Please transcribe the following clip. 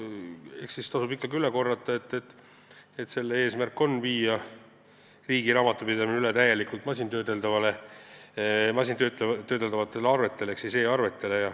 Eks tasub ikkagi üle korrata, et eelnõu eesmärk on viia riigi raamatupidamine üle täielikult masintöödeldavatele arvetele ehk e-arvetele.